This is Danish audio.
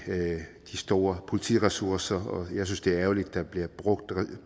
store politiressourcer og jeg synes det er ærgerligt at der bliver brugt